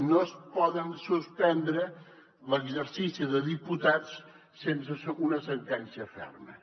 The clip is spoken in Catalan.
no es pot suspendre l’exercici de diputats sense una sentència ferma